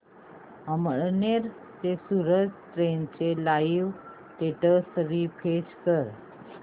अमळनेर ते सूरत ट्रेन चे live status refresh कर